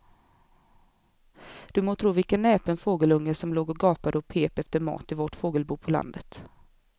Du må tro vilken näpen fågelunge som låg och gapade och pep efter mat i vårt fågelbo på landet.